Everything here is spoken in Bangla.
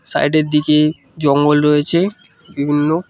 সাইড -এর দিকে জঙ্গল রয়েছে বিভিন্ন।